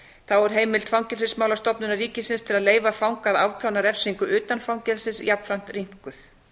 þá er heimild fangelsismálastofnunar ríkisins til að leyfa fanga að afplána refsingu utan fangelsis jafnframt rýmkuð